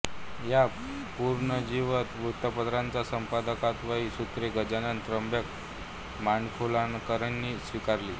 या पुनरुज्जीवित वृत्तपत्राच्या संपादकत्वाची सूत्रे गजानन त्र्यंबक माडखोलकरांनी स्वीकारली